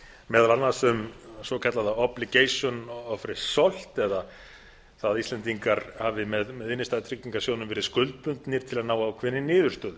meðal annars um svokallaða obligation of result það að íslendingar hafi með innstæðutryggingarsjóðnum verið skuldbundnir til að ná ákveðinni niðurstöðu